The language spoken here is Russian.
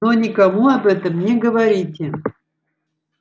но никому об этом не говорите